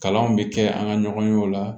Kalanw bɛ kɛ an ka ɲɔgɔn ye o la